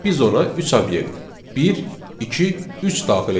biz ona üç obyekt, bir, iki, üç daxil etmişik.